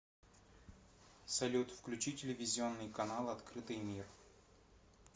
салют включи телевизионный канал открытый мир